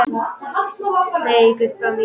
Nei, Gullbrá mín.